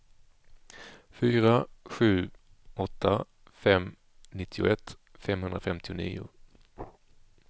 fyra sju åtta fem nittioett femhundrafemtionio